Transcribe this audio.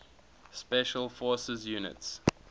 special forces units